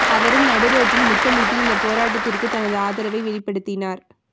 அவரும் நடு ரோட்டில் முத்தமிட்டு இந்த போராட்டத்திற்கு தனது ஆதரவை வெளிப்படுத்தினார்